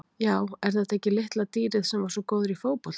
Já er þetta ekki litla dýrið sem var svo góður í fótbolta?